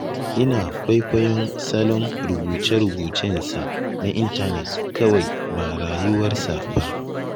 Ina kwaikwayon salon rubuce-rubucensa na intanet kawai ba rayuwarsa ba.